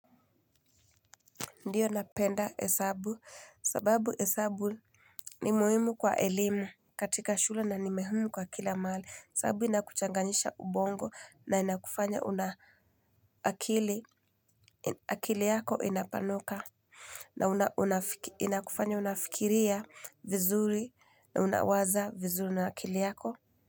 Ndio napenda hesabu, sababu hesabu ni muhimu kwa elimu. Katika shula na ni muhimu kwa kila mali, sababu inakuchanganisha ubongo na inakufanya una akili. Akili yako inapanuka. Na inakufanya unafikiria vizuri na unawaza vizuri na akili yako.